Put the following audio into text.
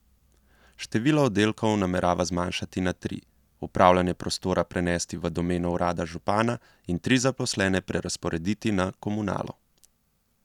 Število oddelkov namerava zmanjšati na tri, upravljanje prostora prenesti v domeno urada župana in tri zaposlene prerazporediti na Komunalo.